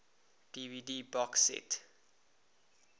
dvd box set